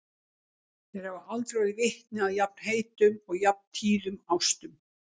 Þeir hafa aldrei orðið vitni að jafn heitum og jafn tíðum ástum.